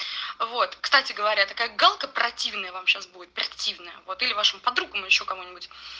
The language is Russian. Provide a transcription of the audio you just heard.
вот кстати говоря такая галка противная вам сейчас будет противная вот или вашим подругам ещё кому-нибудь